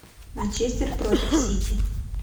манчестер против сити